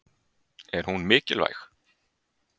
Er hún mikilvæg?